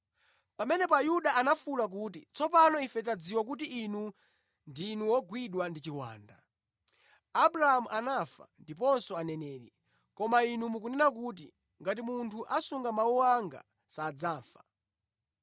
Pamenepo Ayuda anafuwula kuti, “Tsopano ife tadziwadi kuti Inu ndi wogwidwa ndi chiwanda! Abrahamu anafa ndiponso aneneri, koma Inu mukunena kuti, ‘Ngati munthu asunga mawu anga, sadzafa.’